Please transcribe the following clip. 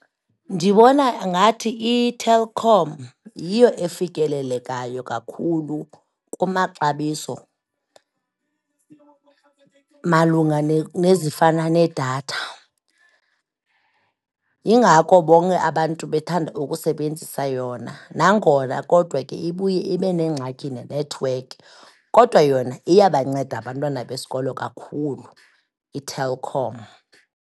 Ndibona ngathi iTelkom yiyo efikelelekayo kakhulu kumaxabiso malunga nezifana nedatha. Yingako bonke abantu bethanda ukusebenzisa yona nangona kodwa ke ibuye ibe nengxaki nenethiwekhi, kodwa yona iyabanceda abantwana besikolo kakhulu iTelkom.